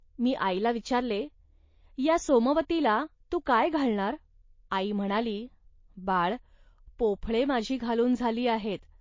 मी आईला विचारले, "या सोमवतीला तू काय घालणार. .आई म्हणाली, "बाळ, पोफळे माझी घालून झाली आहेत